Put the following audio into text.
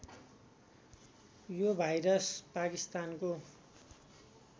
यो भाइरस पाकिस्तानको